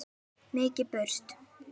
Mikið burst.